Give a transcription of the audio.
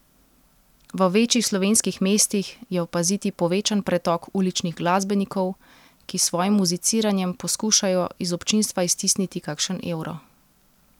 V večjih slovenskih mestih je opaziti povečan pretok uličnih glasbenikov, ki s svojim muziciranjem poskušajo iz občinstva iztisniti kakšen evro.